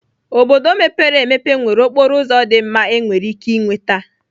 Obodo ndị mepere emepe nwere okporo ụzọ dị mma enwere ike ịnweta.